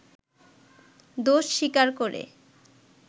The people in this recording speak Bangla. দোষ স্বীকার করে